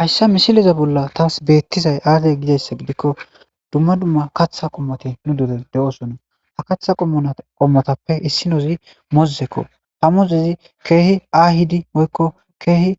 Hayssa misileza bolla taas beettizay aade gidayssa gidikko dumma dumma katha qommoti nu dure de7oosonna ha katha qommona qommotappe issinozi mozzekko ha mozezi keehi aahidi woykko keehi